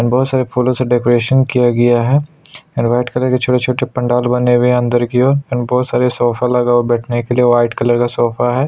And बहुत सारे फूलो से डेकोरेशन किया गया है और वाइट कलर के छोटे-छोटे पंडाल बने हुए है अंदर की ओर एंड बहुत सारे सोफे लगा हुए है बैठने के लिए वाइट कलर का सोफा है।